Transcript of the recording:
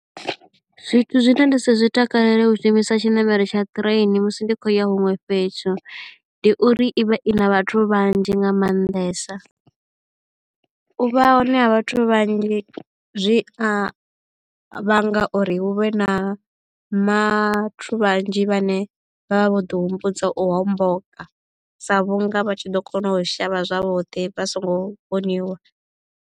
Zwithu zwine nda si zwi takalele u shumisa tshiṋamelo tsha train musi ndi khou ya huṅwe fhethu ndi uri i vha i na vhathu vhanzhi nga maanḓesa. U vha hone ha vhathu vhanzhi zwi a vhanga uri hu vhe na vhathu vhanzhi vhane vha vha vho ḓi humbudza u homboka sa vhunga vha tshi ḓo kona u shavha zwavhuḓi vha so ngo vhoniwa.